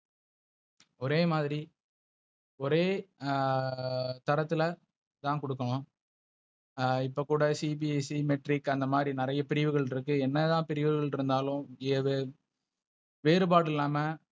ஒரே மாதிரி . ஒரே ஆஹ் தரத்துல தான் குடுக்கனும். ஆஹ் இப்ப கூட CBSE Matric அந்த மாதிரி நிறைய பிரிவுகள் இருக்கு. என்னதான் பிரிவுகள் இருந்தாலும் ஏதோ வேறுபாடு இல்லாம,